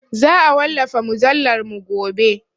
Za a wallafa mujallarmu gobe.